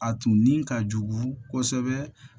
A tun ni ka jugu kosɛbɛ